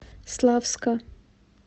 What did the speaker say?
славска